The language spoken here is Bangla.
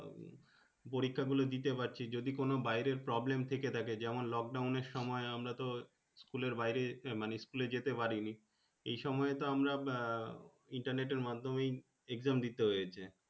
পরীক্ষা গুলো দিতে পারছি যদি কোন বাইরে Problem থেকে থাকে যেমন লোকডাউন সময় আমরা তো School এর বাইরে মানে School যেতে পারিনি এই সময় আমরা আহ Internet এর মাধ্যমে Exam দিতে হয়েছে।